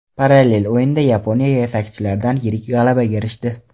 Parallel o‘yinda Yaponiya yetakchilaridan yirik g‘alabaga erishdi.